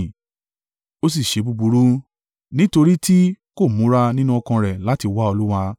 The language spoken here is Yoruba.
O sì ṣe búburú, nítorí tí kò múra nínú ọkàn rẹ̀ láti wá Olúwa.